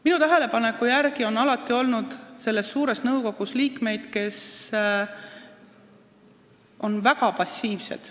Minu tähelepaneku järgi on selles suures nõukogus alati olnud liikmeid, kes on väga passiivsed.